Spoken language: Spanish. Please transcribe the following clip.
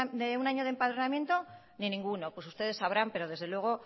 de un año de empadronamiento ni ninguno pues ustedes sabrán pero desde luego